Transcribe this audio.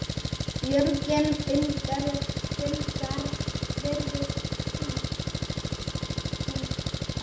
Björgin fingra varðist stungu.